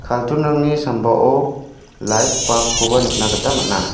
carton-rangni sambao lait bulb-koba nikna gita man·a.